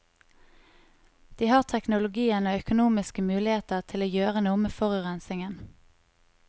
De har teknologien og økonomiske muligheter til å gjøre noe med forurensningen.